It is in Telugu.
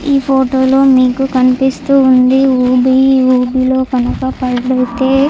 ఈ ఫోటో లో మీకు కనిపిస్తుంది ఊబి. ఊబిలోకి పడితే --